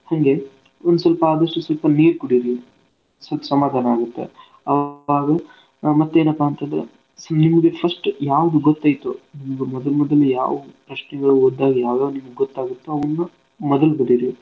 ಹಂಗೆ ಒನ್ಸ್ವಲ್ಪ ಆದಸ್ಟು ಸ್ವಲ್ಪ ನೀರ್ ಕುಡಿರಿ ಸ್ವಲ್ಪ ಸಮಾಧನಾ ಆಗುತ್ತೆ ಅಹ್ ಮತ್ತೇನ್ಪಾ ಅಂತಂದ್ರ so ನಿಮ್ಗ first ಯಾವ್ದು ಗೊತೈತೊ ನಿಮ್ಗ ಮೊದ್ ಮೊದ್ಲ್ ಯಾವು first ಗೆ ಓದ್ದಾಗ ಯಾವ್ ಯಾವ್ ನಿಮ್ಗ ಗೊತ್ತಾಗುತ್ತೊ ಅವ್ನ ಮೊದಲ್ ಬರೀರಿ.